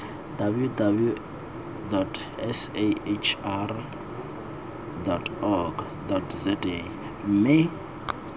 www sahrc org za mme